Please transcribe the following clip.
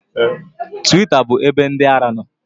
Twita bụ ebe ndị ara nọ